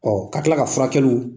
Ɔ ka tila ka furakɛliw